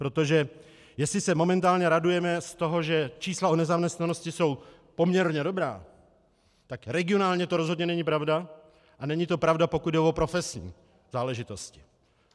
Protože jestli se momentálně radujeme z toho, že čísla o nezaměstnanosti jsou poměrně dobrá, tak regionálně to rozhodně není pravda a není to pravda, pokud jde o profesní záležitost.